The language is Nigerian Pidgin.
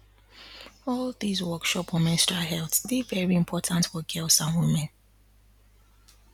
all these workshop on menstrual health dey very important for girls and women